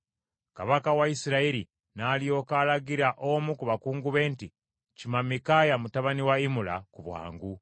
Kabaka wa Isirayiri n’alyoka alagira omu ku bakungu be nti, “Kima Mikaaya mutabani wa Imula ku bwangu.”